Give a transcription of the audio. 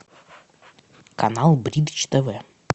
канал бридж тв